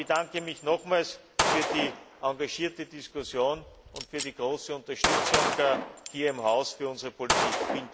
Ich bedanke mich nochmals für die engagierte Diskussion und für die große Unterstützung hier im Haus für unsere Politik.